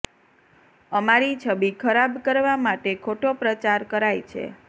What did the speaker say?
અમારી છબિ ખરાબ કરવા માટે ખોટો પ્રચાર કરાય છે